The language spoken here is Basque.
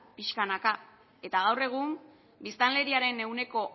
pixkanaka eta gaur egun biztanleriaren ehuneko